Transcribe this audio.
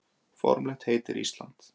Formlegt heiti er Ísland.